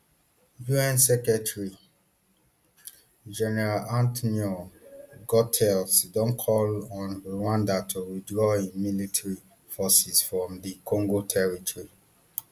un secretary general antnio guterres don call on rwanda to withdraw im military forces from dr congo territory